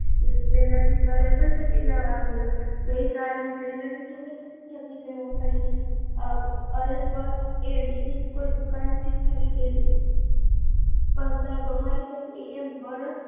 પેહલા થી લેવા આવેઓ, ગઈ સાલ ફરી થી છત્રી લેવા ખરીદી, અલબત્ત બીજી દુકાને થી ખરીદેલી, પણ અમારી છત્રી એમ વર્ષ